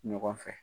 Ɲɔgɔn fɛ